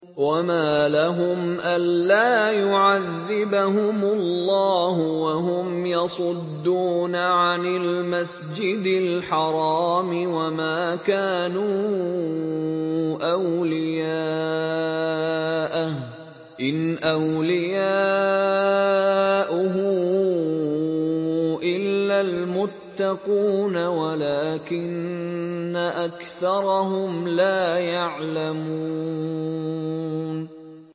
وَمَا لَهُمْ أَلَّا يُعَذِّبَهُمُ اللَّهُ وَهُمْ يَصُدُّونَ عَنِ الْمَسْجِدِ الْحَرَامِ وَمَا كَانُوا أَوْلِيَاءَهُ ۚ إِنْ أَوْلِيَاؤُهُ إِلَّا الْمُتَّقُونَ وَلَٰكِنَّ أَكْثَرَهُمْ لَا يَعْلَمُونَ